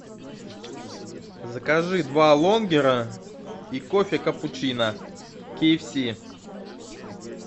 закажи два лонгера и кофе капучино ки эф си